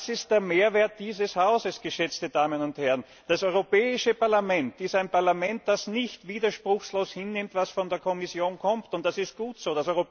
Das ist der Mehrwert dieses Hauses, geschätzte Damen und Herren! Das Europäische Parlament ist ein Parlament, das nicht widerspruchslos hinnimmt, was von der Kommission kommt, und das ist gut so!